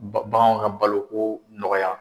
Ba baganw ka baloko nɔgɔya.